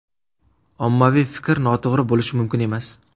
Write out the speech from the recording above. Ommaviy fikr noto‘g‘ri bo‘lishi mumkin emas.